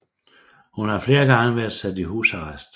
Hun har flere gange været sat i husarrest